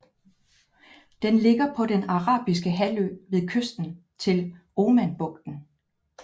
Den ligger på Den Arabiske Halvø ved kysten til Omanbugten